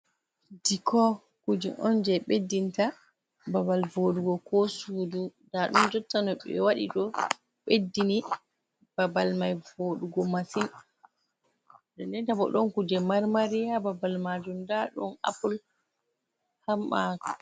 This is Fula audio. Diko kuje on je ɓeddinta babal voɗugo ko sudu, nda ɗon jotta no ɓe waɗi ɗo ɓeddini babal mai vodugo masin, din din ta bo ɗon kuje marmari ha babal majum nda ɗon apule amma.